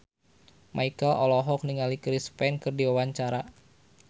Marchell olohok ningali Chris Pane keur diwawancara